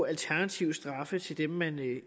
alternative straffe i forhold til dem man